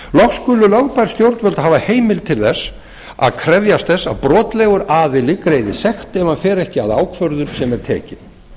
loks skulu lögbær stjórnvöld hafa heimild til að krefjast þess að brotlegur aðili greiði sekt ef hann fer ekki að ákvörðun sem er tekin